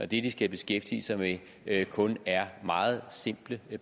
det de skal beskæftige sig med kun er meget simple